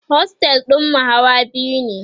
ostel ɗinmu Hawa biyu ne